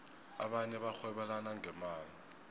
abanye barhwebelana ngemali